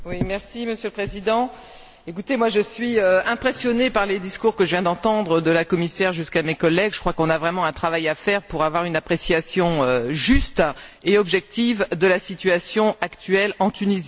Monsieur le Président, je suis impressionnée par les discours que je viens d'entendre, de la commissaire jusqu'à mes collègues. Je crois qu'on a vraiment un travail à faire pour avoir une appréciation juste et objective de la situation actuelle en Tunisie.